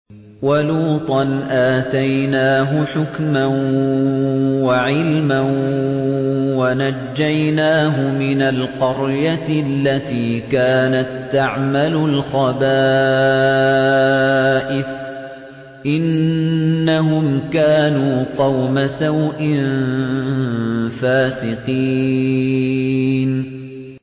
وَلُوطًا آتَيْنَاهُ حُكْمًا وَعِلْمًا وَنَجَّيْنَاهُ مِنَ الْقَرْيَةِ الَّتِي كَانَت تَّعْمَلُ الْخَبَائِثَ ۗ إِنَّهُمْ كَانُوا قَوْمَ سَوْءٍ فَاسِقِينَ